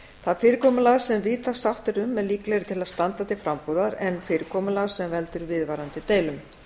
það fyrirkomulag sem víðtæk sátt er um er líklegri til að standa til frambúðar en fyrirkomulag sem veldur viðvarandi deilum